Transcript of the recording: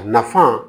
A nafan